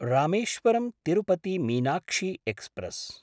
रामेश्वरं–तिरुपति Meenakshi express